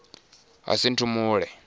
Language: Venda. hasinthumule